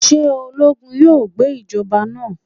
Ṣe ologun yoo gba ijọba naa?